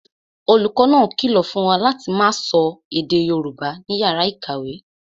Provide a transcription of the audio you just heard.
Olùkọ́ náà kìlọ̀ fún wa láti máa sọ èdè Yorùbá ní yàrá ìkàwé